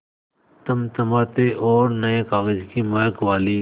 चमचमाती और नये कागज़ की महक वाली